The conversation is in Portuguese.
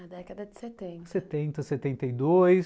A década de setenta, setenta e dois.